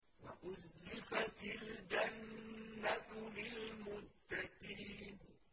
وَأُزْلِفَتِ الْجَنَّةُ لِلْمُتَّقِينَ